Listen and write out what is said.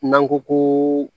N'an ko ko